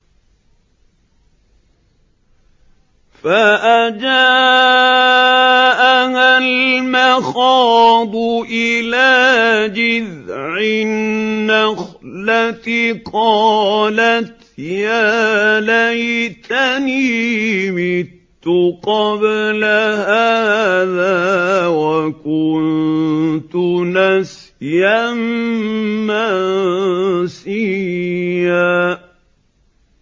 فَأَجَاءَهَا الْمَخَاضُ إِلَىٰ جِذْعِ النَّخْلَةِ قَالَتْ يَا لَيْتَنِي مِتُّ قَبْلَ هَٰذَا وَكُنتُ نَسْيًا مَّنسِيًّا